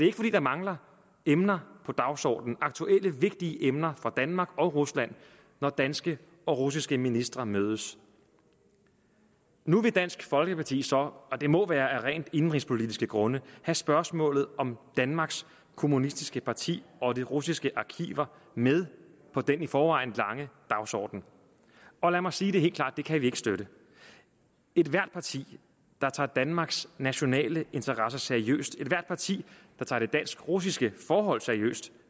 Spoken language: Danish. ikke fordi der mangler emner på dagsordenen aktuelle vigtige emner for danmark og rusland når danske og russiske ministre mødes nu vil dansk folkeparti så og det må være af rent indenrigspolitiske grunde have spørgsmålet om danmarks kommunistiske parti og de russiske arkiver med på den i forvejen lange dagsorden og lad mig sige helt klart det kan vi ikke støtte ethvert parti der tager danmarks nationale interesser seriøst ethvert parti der tager det dansk russiske forhold seriøst